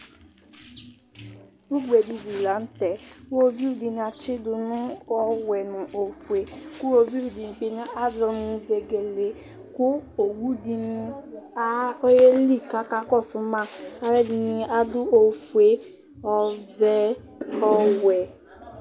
ugbe dɩ li lanʊtɛ, iwoviu dɩnɩ atsidʊ nʊ ɔwɛ nʊ ofue, kʊ iwoviu dɩ azɔ nʊ vegele, kʊ owu dɩnɩ ayeli kʊ akakɔsʊ ma, alʊɛdɩnɩ adʊ ofue, ɔvɛ, owɛ